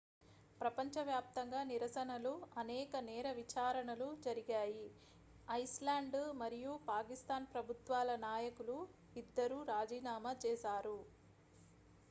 ప్రపంచవ్యాప్తంగా నిరసనలు అనేక నేర విచారణలు జరిగాయి ఐస్లాండ్ మరియు పాకిస్తాన్ ప్రభుత్వాల నాయకులు ఇద్దరూ రాజీనామా చేశారు